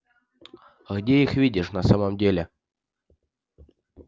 а где их видишь на самом деле